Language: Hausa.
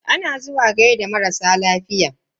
Ana zuwa gaida marasa lafiya.